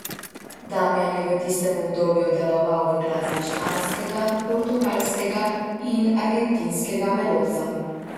Damjan je v tistem obdobju deloval v glasbi španskega, portugalskega in argentinskega melosa.